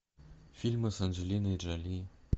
фильмы с анджелиной джоли